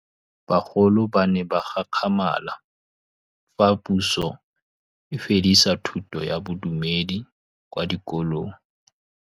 Bagolo ba ne ba gakgamala fa Pusô e fedisa thutô ya Bodumedi kwa dikolong.